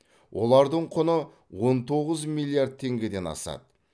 олардың құны он тоғыз миллиард теңгеден асады